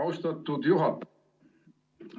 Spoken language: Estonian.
Austatud juhataja!